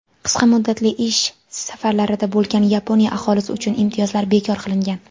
qisqa muddatli ish safarlarida bo‘lgan Yaponiya aholisi uchun imtiyozlar bekor qilingan.